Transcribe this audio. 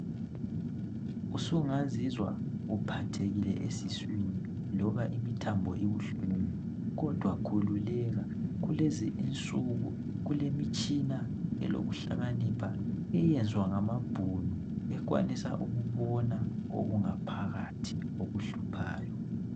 Usungazizwa uphathekile esiswini loba imithambo ibuhlungu kodwa khululeka kulezi insuku kulemitshina elokuhlakanipha eyenzwa ngamabhunu ekwanisa ukubona ngaphakathi okukuhluphayo